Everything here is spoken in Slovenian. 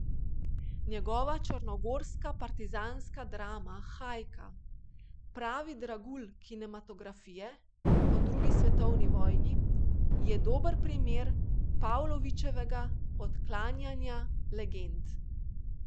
Njegova črnogorska partizanska drama Hajka, pravi dragulj kinematografije o drugi svetovni vojni , je dober primer Pavlovićevega odklanjanja legend.